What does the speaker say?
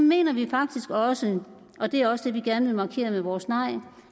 mener vi faktisk også og det er også det vi gerne vil markere med vores nej